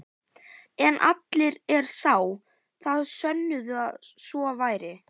En allir er sá, þá sönnuðu að svo væri.